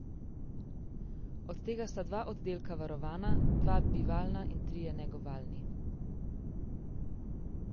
Od tega sta dva oddelka varovana, dva bivalna in trije negovalni.